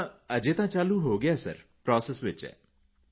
ਹਾਂ ਅਜੇ ਤਾਂ ਚਾਲੂ ਹੋ ਗਿਆ ਹੈ ਪ੍ਰੋਸੈਸ ਵਿੱਚ ਹੈ